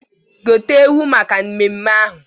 Gote ewu maka mmemme ahụ!